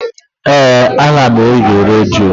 Éè, ana m ege redio